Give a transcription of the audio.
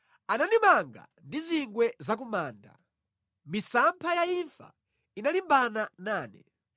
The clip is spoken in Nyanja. Anandimanga ndi zingwe za ku manda; misampha ya imfa inalimbana nane.